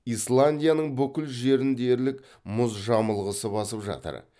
исландияның бүкіл жерін дерлік мұз жамылғысы басып жатыр